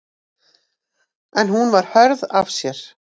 En hún var hörð af sér.